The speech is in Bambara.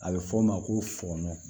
A bɛ fɔ o ma ko fɔnɔn